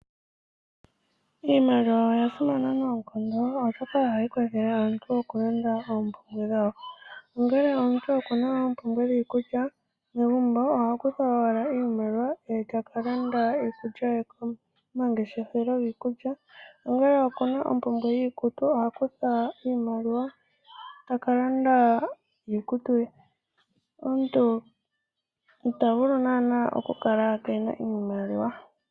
Iimaliwa oya simana noonkondo oshoka oyo hayi kwathele aantu oku konga oompumbwe dhawo, ongele omuntu okuna oompumbwe dhiikulya megumbo ohakutha owala iimaliwa eta kalanda iikulya ye komangeshefelo giikulya, ongele okuna ompumbwe yiikutu oha kutha iimaliwa eta kalanda iikutu ye. Omuntu itavulu naana okukala Kena iimaliwa.